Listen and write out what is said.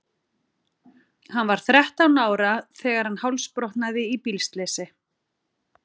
Hann var þrettán ára þegar hann hálsbrotnaði í bílslysi.